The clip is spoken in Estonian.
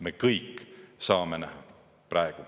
Me kõik saame näha praegu.